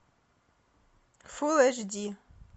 фул эйч ди